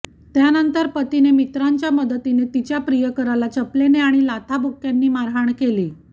त्यानंतर पतीने मित्रांच्या मदतीने तिच्या प्रियकराला चपलेने आणि लाथाबुक्क्यांनी मारहाण केली